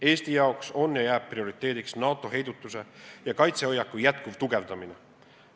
Eesti jaoks on ja jääb prioriteediks NATO heidutus- ja kaitsehoiaku jätkuv tugevdamine.